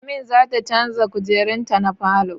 Amin zata canza kujerun ta na falo